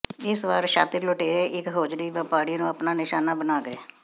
ਇਸ ਵਾਰ ਸ਼ਾਤਿਰ ਲੁਟੇਰੇ ਇਕ ਹੌਜਰੀ ਵਪਾਰੀ ਨੂੰ ਆਪਣਾ ਨਿਸ਼ਾਨਾ ਬਣਾ ਗਏ